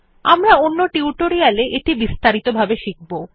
আমরা অন্য টিউটোরিয়াল এ এটি বিস্তারিত ভাবে শিখব